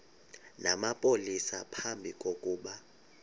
namapolisa phambi kokuba